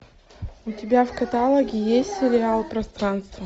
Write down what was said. у тебя в каталоге есть сериал пространство